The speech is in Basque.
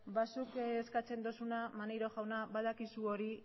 zuk eskatzen duzuna maneiro jauna badakizu hori